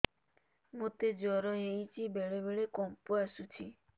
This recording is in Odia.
ମୋତେ ଜ୍ୱର ହେଇଚି ବେଳେ ବେଳେ କମ୍ପ ଆସୁଛି